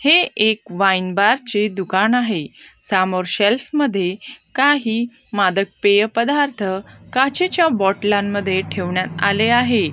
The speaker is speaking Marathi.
हे एक वाईन बार चे दुकान आहे सामोर शेल्फ मध्ये काही मादक पेय पदार्थ काचेच्या बॉटलांमध्ये ठेवण्यात आले आहे.